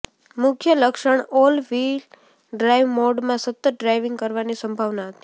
મુખ્ય લક્ષણ all wheel drive મોડમાં સતત ડ્રાઇવિંગ કરવાની સંભાવના હતી